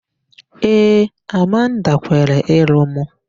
Ee, Amanda kwere ịlụ mụ.